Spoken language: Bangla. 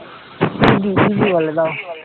ইদই ইদই বলে দাও